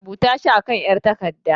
Rubuta shi a kan 'yar takarda.